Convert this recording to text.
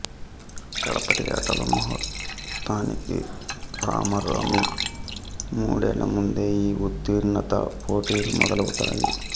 కడపటి ఆటల ముహూర్తానికి రమారమి మూడేళ్ళ ముందే ఈ ఉత్తీర్ణతా పోటీలు మొదలవుతాయి